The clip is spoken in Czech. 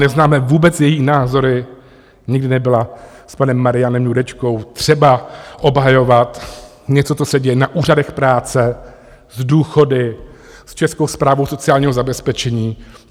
Neznáme vůbec její názory, nikdy nebyla s panem Marianem Jurečkou třeba obhajovat něco, co se děje na úřadech práce, s důchody, s Českou správou sociálního zabezpečení.